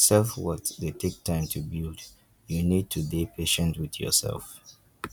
self worth dey take time to build you need to dey patient with yourself